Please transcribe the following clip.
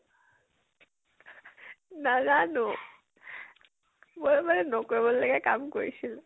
নাজানো, মই মানে নকৰিব লগিয়া কাম কৰিছিলো।